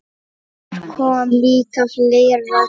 Þar kom líka fleira til.